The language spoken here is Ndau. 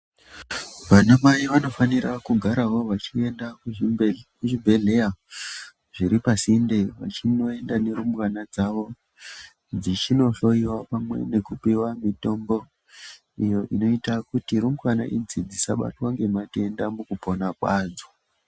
Vanamai vanofanira kugarawo vachienda kuzvibhe kuzvibhedhleya zviri pasinde, vachinoenda nerumbwana dzavo, dzichinohloiwa pamwe nekupiwa mitombo, iyo inoita kuti rumbwana idzi, dzisabatwa ngematenda mukupona kwadzo.